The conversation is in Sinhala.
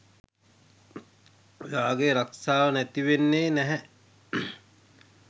ඔයාගේ රක්ෂාව නැතිවෙන්නේ නැහැ